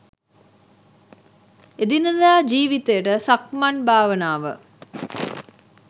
එදිනෙදා ජීවිතයට සක්මන් භාවනාව